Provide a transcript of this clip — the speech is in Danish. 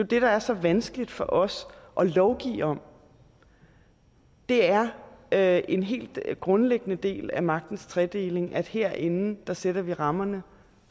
det der er så vanskeligt for os at lovgive om det er er en helt grundlæggende del af magtens tredeling at herinde sætter vi rammerne